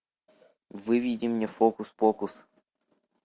выведи мне фокус покус